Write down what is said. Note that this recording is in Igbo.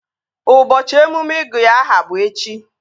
Ụbọchị emume ịgụ ya aha bụ echi